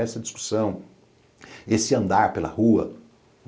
Essa discussão, esse andar pela rua.